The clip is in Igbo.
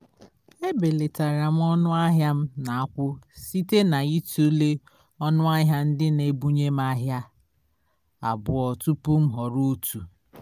e belatara m ọnụ ahịa m na akwụ site na itule ọnụ ahịa ndị na ebunye m ihe ahịa abụọ tụpụ m họrọ otu